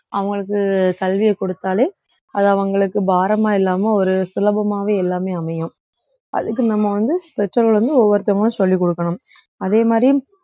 அவங்களுக்கு சலுகையை கொடுத்தாலே அது அவங்களுக்கு பாரமா இல்லாம ஒரு சுலபமாவே எல்லாமே அமையும் அதுக்கு நம்ம வந்து பெற்றோர்கள் வந்து ஒவ்வொருத்தவங்களுக்கும் சொல்லிக் கொடுக்கணும் அதே மாதிரி